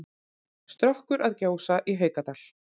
Strokkur að gjósa í Haukadal.